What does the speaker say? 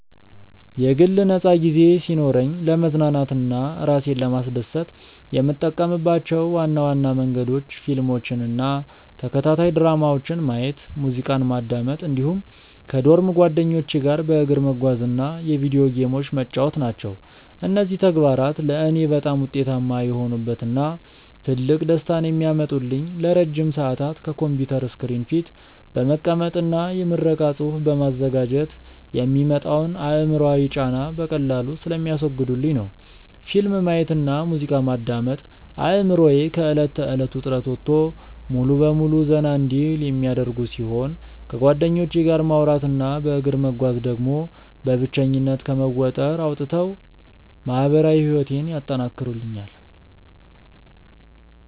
የግል ነፃ ጊዜ ሲኖረኝ ለመዝናናት እና እራሴን ለማስደሰት የምጠቀምባቸው ዋና ዋና መንገዶች ፊልሞችን እና ተከታታይ ድራማዎችን ማየት፣ ሙዚቃ ማዳመጥ እንዲሁም ከዶርም ጓደኞቼ ጋር በእግር መጓዝ እና የቪዲዮ ጌሞችን መጫወት ናቸው። እነዚህ ተግባራት ለእኔ በጣም ውጤታማ የሆኑበት እና ትልቅ ደስታን የሚያመጡልኝ ለረጅም ሰዓታት ከኮምፒውተር ስክሪን ፊት በመቀመጥ እና የምረቃ ፅሁፍ በማዘጋጀት የሚመጣውን አእምሯዊ ጫና በቀላሉ ስለሚያስወግዱልኝ ነው። ፊልም ማየት እና ሙዚቃ ማዳመጥ አእምሮዬ ከእለት ተእለት ውጥረት ወጥቶ ሙሉ በሙሉ ዘና እንዲል የሚያደርጉ ሲሆን፣ ከጓደኞቼ ጋር ማውራት እና በእግር መጓዝ ደግሞ በብቸኝነት ከመወጠር አውጥተው ማህበራዊ ህይወቴን ያጠናክሩልኛል።